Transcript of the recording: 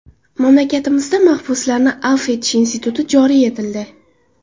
Mamlakatimizda mahbuslarni afv etish instituti joriy etildi.